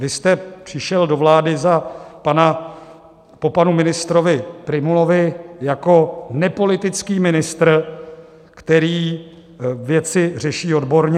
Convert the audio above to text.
Vy jste přišel do vlády po panu ministrovi Prymulovi jako nepolitický ministr, který věci řeší odborně.